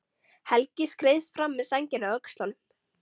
Helgi skreiðist fram með sængina á öxlunum.